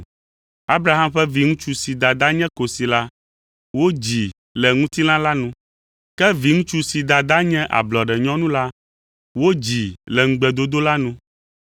Abraham ƒe viŋutsu si dada nye kosi la, wodzii le ŋutilã la nu, ke viŋutsu si dada nye ablɔɖenyɔnu la, wodzii le ŋugbedodo la nu.